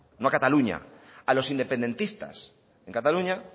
no a cataluña a los independentistas en cataluña